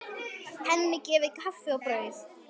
Henni gefið kaffi og brauð.